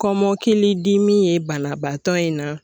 Kɔmɔkili dimi ye banabaatɔ in na.